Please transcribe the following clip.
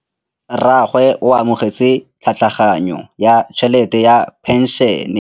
Rragwe o amogetse tlhatlhaganyô ya tšhelête ya phenšene.